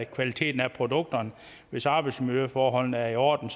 kvaliteten af produkterne hvis arbejdsmiljøforholdene er i orden